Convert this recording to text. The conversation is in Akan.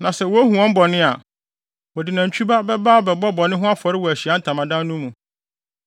Na sɛ wohu wɔn bɔne a, wɔde nantwi ba bɛba abɛbɔ bɔne ho afɔre wɔ Ahyiae Ntamadan no mu.